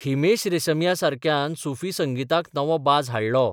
हिमेश रेशमियासारक्यान सुफी संगीताक नवो बाज हाडलो.